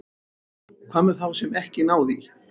Hvað með þá sem ekki ná því?